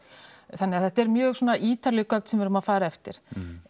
þannig að þetta eru mjög svona ítarleg gögn sem við erum að fara eftir